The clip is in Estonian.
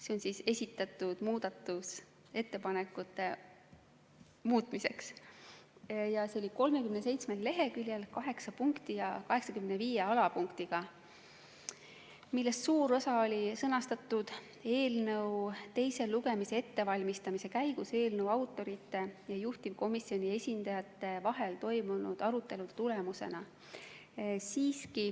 See saadeti esitatud muudatusettepanekute muutmiseks ja seal oli 37 leheküljel kaheksa punkti ja 85 alapunkti, millest suur osa oli sõnastatud eelnõu teise lugemise ettevalmistamise käigus eelnõu autorite ja juhtivkomisjoni esindajate vahel toimunud arutelu tulemusena.